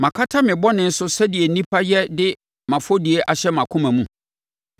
Makata me bɔne so sɛdeɛ nnipa yɛ de mʼafɔdie ahyɛ mʼakoma mu?